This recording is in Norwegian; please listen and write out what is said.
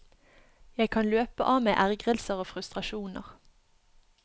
Jeg kan løpe av meg ergrelser og frustrasjoner.